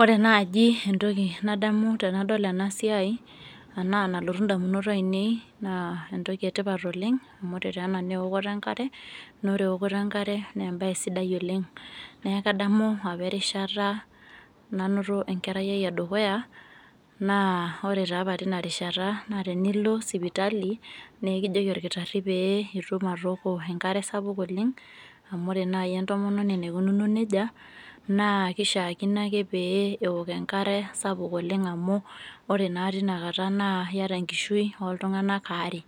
ore naaji entoki nadamu tenadol ena siai anaa nalotu damunot aainei, naa entoki etipat oleng, amu ore taa ena naa eooto enkare, naa ore eokoto enkare naa embae sidai oleng. neeku kadamu apa erishata, nanoto enkerai ai edukuya naa, ore taa apa teina rishata naa tenilo sipitali, naa ekijoki olkitari pee itum atooko enkare sapuk oleng. amu ore naaji entomononi naikunuo nejia naa kishaakino ake pee eok enkare sapuk amu, ore naa teina kata naa iyata enkishui ooltunganak aare.